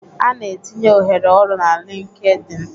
A na-etinye ohere ọrụ na LinkedIn